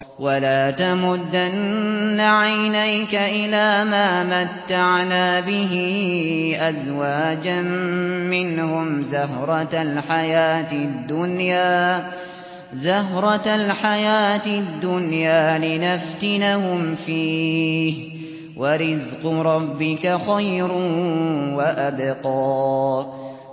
وَلَا تَمُدَّنَّ عَيْنَيْكَ إِلَىٰ مَا مَتَّعْنَا بِهِ أَزْوَاجًا مِّنْهُمْ زَهْرَةَ الْحَيَاةِ الدُّنْيَا لِنَفْتِنَهُمْ فِيهِ ۚ وَرِزْقُ رَبِّكَ خَيْرٌ وَأَبْقَىٰ